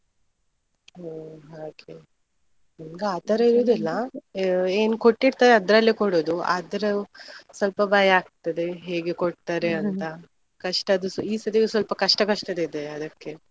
ಹೋ ಹಾಗೆ! ನಿಮ್ಗೆ ಆತರ ಇರುದಿಲ್ಲ. ಏನ್ ಕೊಟ್ಟಿರ್ತಾರೆ ಅದ್ರಲ್ಲೇ ಕೊಡುದು ಆದರೂ ಸ್ವಲ್ಪ ಭಯ ಆಗ್ತದೆ, ಹೇಗೆ ಕೊಡ್ತಾರೆ ಅಂತ. ಕಷ್ಟದ್ದು ಈ ಸತಿಯು ಸ್ವಲ್ಪ ಕಷ್ಟ ಕಷ್ಟದೆ ಇದ್ದದ್ದು ಅದಕ್ಕೆ.